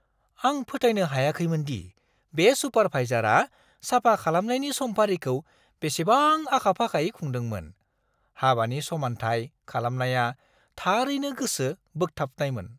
आं फोथायनो हायाखैमोन दि बे सुपारभाइजारआ साफा खालामनायनि समफारिखौ बेसेबां आखा-फाखायै खुंदोंमोन! हाबानि समानथाय खालामनाया थारैनो गोसो बोगथाबनायमोन!